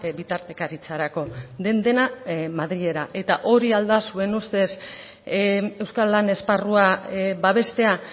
bitartekaritzarako den dena madrilera eta hori al da zuen ustez euskal lan esparrua babestea